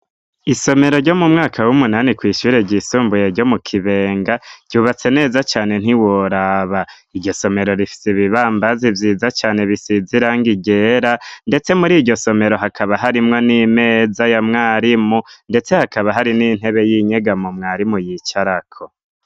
Isomero ryo mu mwaka w'umunani kw'ishure ry'isumbuye ryo mu Kibenga ryubatse neza cane ntiworaba. Iryo somero rifise ibibambazi vyiza cane bisize irangi ryera, ndetse mur'iryo somero hakaba harimwo n'imeza ya mwarimu, ndetse hakaba hari n'intebe y'inyegamo mwarimu yicarako.